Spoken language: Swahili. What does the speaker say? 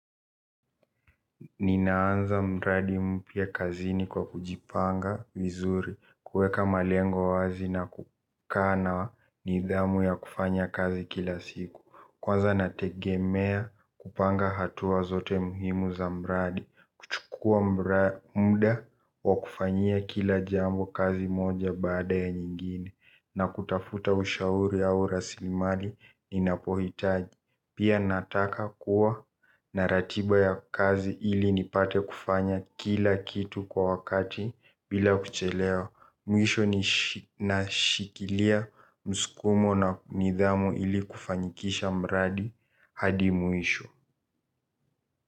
Ninaanza mradi mpya kazini kwa kujipanga vizuri, kuweka malengo wazi na kukaa na nidhamu ya kufanya kazi kila siku. Kwanza nategemea kupanga hatua zote muhimu za mradi kuchukua muda wa kufanyia kila jambo kazi moja baada ya nyingine na kutafuta ushauri au rasilimali ninapohitaji. Pia nataka kuwa na ratiba ya kazi ili nipate kufanya kila kitu kwa wakati bila kuchelewa. Mwisho nashikilia msukumo na nidhamu ili kufanyikisha mradi hadi mwisho.